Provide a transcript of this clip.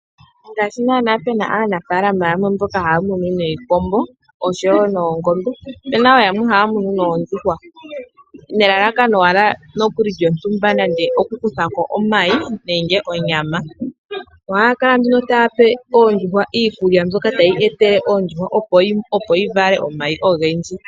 Ngaashi nana pe na aanafaalama yamwe mboka haya munu niikombo osho wo noongombe ope na wo yamwe haya munu noondjuhwa, nelalakano owala lyontumba nande okukukutha ko omayi nenge onyama, ohaya kala nduno taya pe ondjuhwa iikulya mbyoka tayi etele oondjuhwa opo dhi vale omayi ogendji.